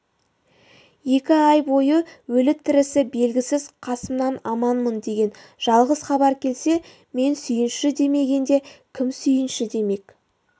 екі ай бойы өлі-тірісі белгісіз қасымнан аманмын деген жалғыз хабар келсе мен сүйінші демегенде кім сүйінші демек